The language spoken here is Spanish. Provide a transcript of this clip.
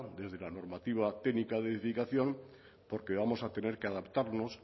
desde la normativa técnica de edificación porque vamos a tener que adaptarnos